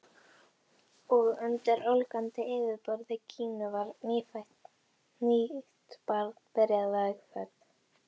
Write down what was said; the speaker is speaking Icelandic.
Og undir ólgandi yfirborði Gínu var nýtt barn byrjað vegferð.